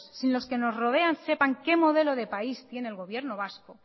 sin que los que nos rodean sepan qué modelo de país tiene el gobierno vasco